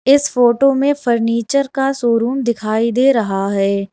इस फोटो में फर्नीचर का शोरूम दिखाई दे रहा है।